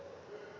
e le kgolo ho eo